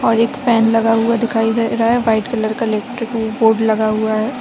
और एक फैन लगा हुआ दिखाई दे रहा है व्हाइट कलर का इलेक्ट्रिक बोर्ड लगा हुआ है।